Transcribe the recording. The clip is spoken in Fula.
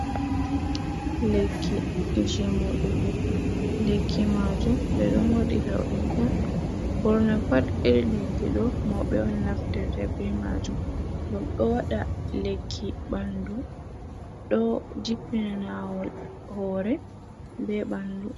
Lekki je moɗugo lekki majum ɓe ɗo modira ɗum on ɓurna pat iri lekki ɗo, mauɓe on naftirta be majum ngam ɗo waɗa lekki ɓandu, ɗo jippina nawol hore be ɓandu.